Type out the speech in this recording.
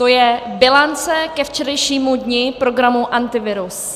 To je bilance ke včerejšímu dni programu Antivirus.